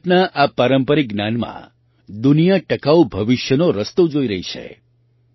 ભારતના આ પારંપરિક જ્ઞાનમાં દુનિયા ટકાઉ ભવિષ્યનો રસ્તો જોઈ રહી છે